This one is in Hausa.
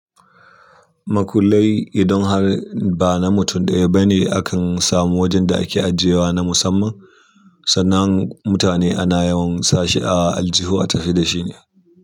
Makullai, idan har ba na mutum ɗaya bane akan samu wajen da ake ajiyewa na musamman, sannan mutane ana yawan sa shi a aljihu a tafi da shine.